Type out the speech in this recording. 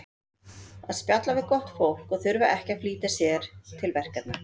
Að spjalla við gott fólk og þurfa ekki að flýta sér til verkefna.